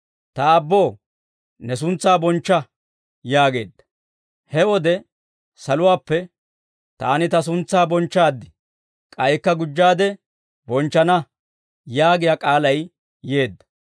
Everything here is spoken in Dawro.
Ta Aabboo, ne suntsaa bonchcha» yaageedda. He wode saluwaappe, «Taani Ta suntsaa bonchchaad; k'aykka gujjaade bonchchana» yaagiyaa k'aalay yeedda.